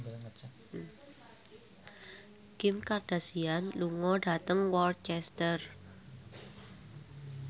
Kim Kardashian lunga dhateng Worcester